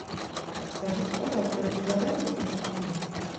подскажите пожалуйста вы предлагаете детское меню